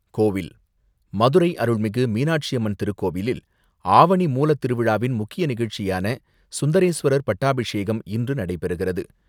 கோவில் மதுரை அருள்மிகு மீனாட்சி அம்மன் திருக்கோவிலில் ஆவணி மூலத்திருவிழாவின் முக்கிய நிகழ்ச்சியான சுந்தரேஸ்வரர் பட்டாபிஷேகம் இன்று நடைபெறுகிறது.